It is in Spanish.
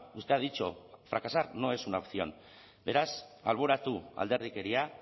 usted ha dicho fracasar no es una opción beraz alboratu alderdikeria